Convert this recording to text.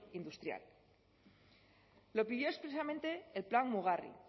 industrial lo pidió expresamente el plan mugarri